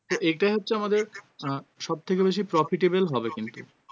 এটাই হচ্ছে আমাদের আহ সবথেকে বেশি profitable হবে কিন্তু